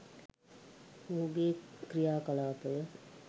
මොහුගේ ක්‍රියා කලාපය